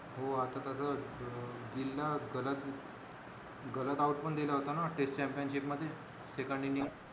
हो आता तर अं गिल ला गलत गलत आऊट पण दिल होत ना टेस्ट चॅम्पियनशिप मध्ये second इंनिंग